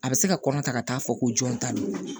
A bɛ se ka kɔnɔ ta ka taa fɔ ko jɔn ta don